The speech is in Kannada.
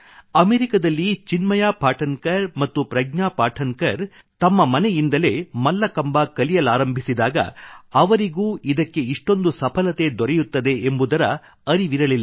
ಅಮೇರಿಕದಲ್ಲಿ ಚಿನ್ಮಯ ಪಾಠನ್ ಕರ್ ಮತ್ತು ಪ್ರಜ್ಞಾ ಪಾಠನ್ ಕರ್ ತಮ್ಮ ಮನೆಯಿಂದಲೇ ಮಲ್ಲಕಂಬ ಕಲಿಯಲಾರಂಭಿಸಿದಾಗ ಅವರಿಗೂ ಇದಕ್ಕೆ ಇಷ್ಟೊಂದು ಸಫಲತೆ ದೊರೆಯುತ್ತದೆ ಎಂಬುದರ ಻಻ಅರಿವಿರಲಿಲ್ಲ